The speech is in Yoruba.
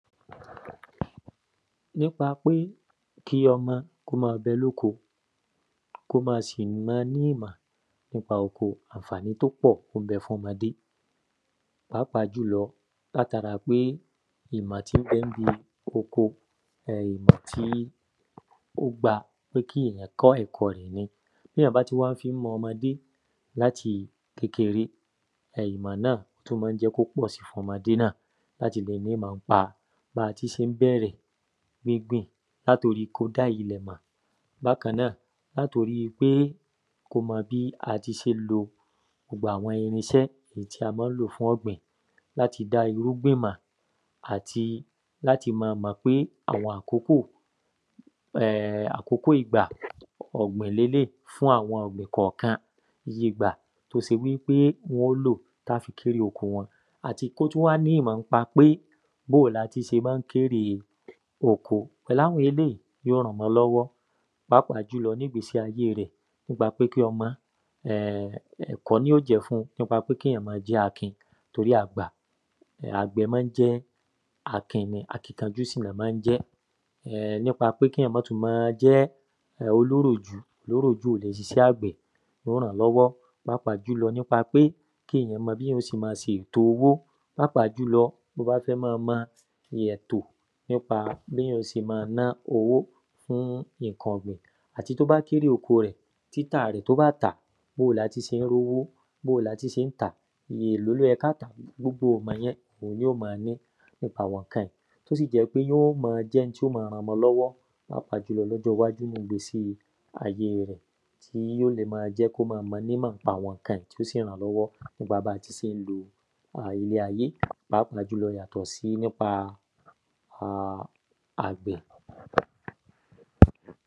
N’ípa pé kí ọmọ k’ó ma bẹ l’óko k’ó ma sì mọ ní ìmọ̀ n’ípa oko àǹfàní t’ó pọ̀ ó ń bẹ f’ọmọde Pàápàá jùlọ, l’át’ara pé ìmọ̀ tí ń bẹ ń ‘bi oko tí ó gbá kí èyan kọ́ ẹ̀kọ ẹ̀ ni T’éyàn bá tí wá ń fí han ọmọdé l’áti kékeré ìmọ̀ náà tú má ń jẹ́ k’ó pọ̀ si f’ọmọde náà l’áti le n’ímọ̀ ń pa ba tí ṣé ń bẹ̀rẹ̀ gbígbìn l’át’orí ko dá ilẹ̀ mọ̀ Bákan náà, l’át’orí pé k’ó mọ bí a ti ṣé ń lo gbogbo àwọn tí a má ń lò fún ọ̀gbìn l’áti dá irúgbìn mọ̀ àti l’áti ma mọ̀ pé àwọn àkókò àkókò ìgbà ọ̀gbìn l’eléí fún àwọn ọ̀gbìn kọ̀kan ìgbà t’ó se wí pé wọ́n ó lò tá fi kérè oko wọn Àti k’ó tú wá ní ìmọ̀ ń pa pé b’ó o l’a ti se má ń kérè oko Pẹ̀lú àwọn eéyí yó ran ọmọ l’ọ́wọ́ pàápàá jùlọ n’ígbe`̀si ayé rẹ̀ Ẹ̀kọ́ ní ó jẹ́ fun n’ípa pé k’íyàn ma jẹ́ akin. Torí a gbà àgbẹ̀ má ń jẹ́ akin ni. Akínkanjú sì l’ọ́ má ń jẹ́ N’ípa k’íyàn má tú ma jẹ́ olóròjú. Olóròjú ò lè sisẹ́ àgbẹ̀. Yó rán l’ọ́wọ́. Pàápàá jùlọ n’ípa pé k’íyàn mọ b’íyàn ó se ma sètò owó Pàápàá jùlọ t’ó bá fẹ́ ma mọ ètò n’ípa b’íyàn ó se ma ná owó fún ìnkan ọ̀gbìn. Àti t’ó bá k’érè oko rẹ̀ títà rẹ̀ t’ó bá tàá, b‘ó o l’áti sé ń r’ówó? B’ó o l’áti sé ń tàá? Èló ló yẹ k’á tàá? Gbogbo ìmọ̀ ni yó ma rí n’ípa àwọn ǹkan yí. T’ó sì jẹ́ ń pé yó ma jẹ́ n t’ó ma ran ‘mọ l’ọ́wọ́ Pàápàá jùlọ l’ọjọ́ ‘wájú n’ígbésí ayé rẹ̀ Tí yó le ma jẹ́ k’ó ma mọ n’ímọ̀ n’ípa àwọn ǹkan yi t’ó sì ran l’ọ́wọ́ n’ípa ba ti sé ń lo ilé ayé. Pàápàá jùlọ yàtọ̀ sí n’ípa àgbẹ̀.